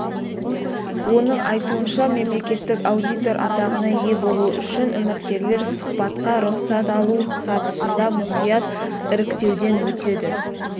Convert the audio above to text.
оның айтуынша мемлекеттік аудитор атағына ие болу үшін үміткерлер сұхбатқа рұқсат алу сатысында мұқият іріктеуден өтеді